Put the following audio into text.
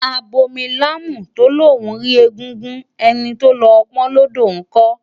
Abomilámù tó lóun rí egúngún, ẹni tó lọ pọn ọ́n lódò ńkọ́?